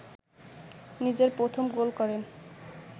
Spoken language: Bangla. নিজের প্রথম গোল করেন